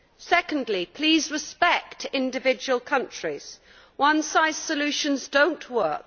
Secondly, please respect individual countries. One size solutions do not work.